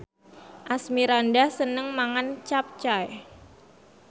Asmirandah seneng mangan capcay